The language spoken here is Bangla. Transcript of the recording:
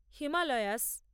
হিমালয়াস